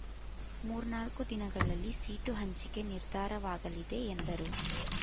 ಮೂರು ನಾಲ್ಕು ದಿನಗಳಲ್ಲಿ ಸೀಟು ಹಂಚಿಕೆ ನಿರ್ಧಾರವಾಗಲಿದೆ ಎಂದರು